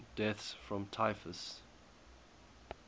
deaths from typhus